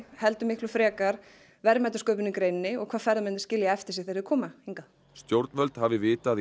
heldur miklu frekar verðmætasköpun í greininni og hvað ferðamennirnir skilja eftir sig þegar þeir koma hingað stjórnvöld hafi vitað í